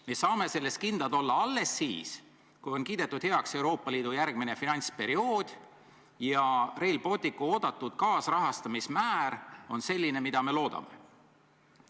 Me saame selles kindlad olla alles siis, kui on kiidetud heaks Euroopa Liidu järgmine finantsperiood ja Rail Balticu kaasrahastamise määr on selline, nagu me loodame.